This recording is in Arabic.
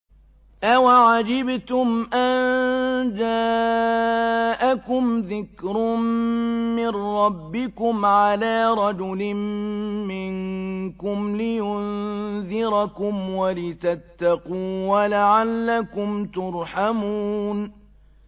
أَوَعَجِبْتُمْ أَن جَاءَكُمْ ذِكْرٌ مِّن رَّبِّكُمْ عَلَىٰ رَجُلٍ مِّنكُمْ لِيُنذِرَكُمْ وَلِتَتَّقُوا وَلَعَلَّكُمْ تُرْحَمُونَ